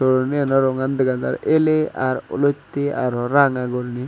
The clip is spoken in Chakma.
soroni gano rongan dega jar ele r olotte aro ranga guriney.